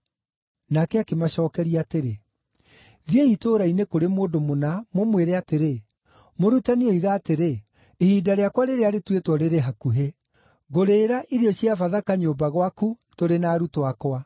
Nake akĩmacookeria atĩrĩ, “Thiĩi itũũra-inĩ kũrĩ mũndũ mũna mũmwĩre atĩrĩ, ‘Mũrutani oiga atĩrĩ: Ihinda rĩakwa rĩrĩa rĩtuĩtwo rĩrĩ hakuhĩ. Ngũrĩĩra irio cia Bathaka nyũmba gwaku tũrĩ na arutwo akwa.’ ”